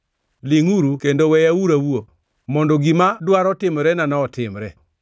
“Lingʼuru kendo weyauru awuo; mondo gima dwaro timorenano otimre.